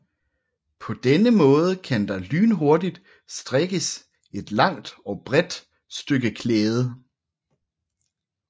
På denne måde kan der lynhurtigt strikkes et langt og bredt stykke klæde